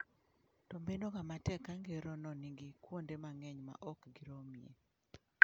To bedoga matek ka ngerono nigi kuonde mang'eny ma ok giromie.